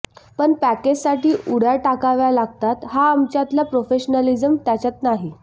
पण पॅकेजसाठी उड्या टाकाव्या लागतात हा आमच्यातला प्रोफेशनॅलिझम त्याच्यात नाही